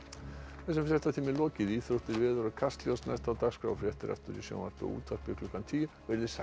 þessum fréttatíma er lokið íþróttir veður og Kastljósi næst á dagskrá fréttir aftur í sjónvarpi og útvarpi klukkan tíu verið þið sæl